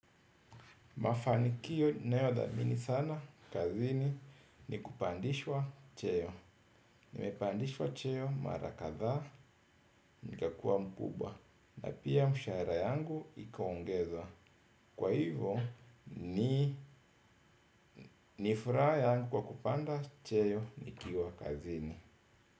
Mafanikio ninayodhamini sana kazini ni kupandishwa cheo. Nimepandishwa cheo mara kadhaa nikakuwa mkubwa na pia mshahara yangu ikaongezwa. Kwa hivyo ni nifuraha yangu kwa kupanda cheo nikiwa kazini.